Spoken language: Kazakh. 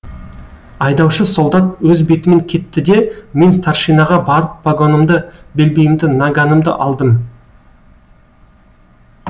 айдаушы солдат өз бетімен кетті де мен старшинаға барып погонымды белбеуімді наганымды алдым